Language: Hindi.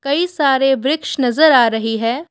कई सारे वृक्ष नजर आ रही है।